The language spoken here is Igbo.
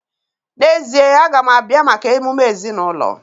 N'ezie, a ga m abịa maka emume ezinụlọ.